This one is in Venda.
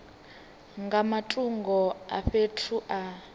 nga matungo a fhethu a